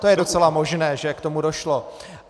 To je docela možné, že k tomu došlo.